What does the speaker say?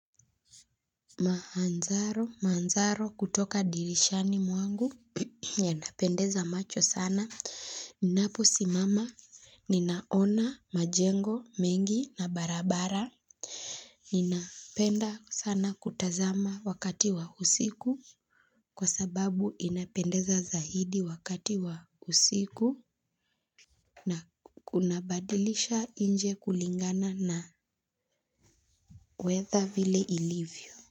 Mahanzaro manzaro kutoka dirishani mwangu yanapendeza macho sana ninapo simama ninaona majengo mengi na barabara ninapenda sana kutazama wakati wa usiku kwa sababu inapendeza zaidi wakati wa usiku na kunabadilisha nje kulingana na weather vile ilivyo.